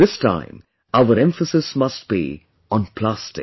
This time our emphasis must be on plastic